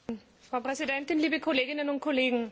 Frau Präsidentin, liebe Kolleginnen und Kollegen!